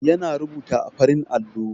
Yana rubuta a farin allon.